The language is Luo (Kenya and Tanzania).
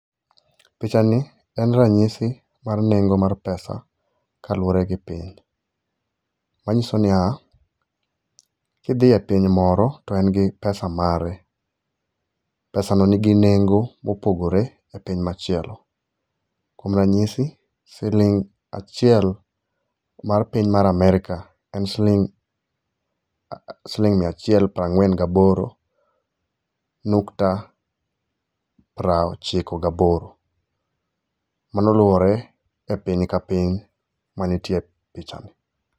Picha ni en ranyisi mar nengo mar pesa kaluore gi piny. Ma nyiso niya ki dhie piny moro en gi pesa mare. Pesa no nigi nengo mopogore e piny machielo. Kuom ranyisi siling achiel mar piny mar Amerka en siling mia achiel prangwen gi aboro nukta prochiko ga boro. Mano luore e piny ka piny ma nitie e picha ni.